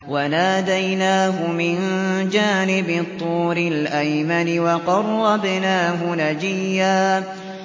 وَنَادَيْنَاهُ مِن جَانِبِ الطُّورِ الْأَيْمَنِ وَقَرَّبْنَاهُ نَجِيًّا